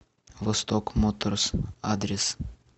восток моторс адрес